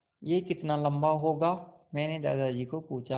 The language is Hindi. यह कितना लम्बा होगा मैने दादाजी को पूछा